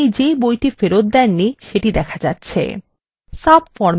subformএ যেকোনো একটি record নির্বাচন করুন